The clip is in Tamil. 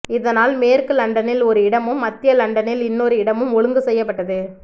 இதனால் மேற்கு லண்டனில் ஒரு இடமும் மத்திய லண்டனில் இன்னொரு இடமும் ஒழுங்கு செய்யப்பட்டது